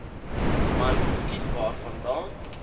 man geskiet waarvandaan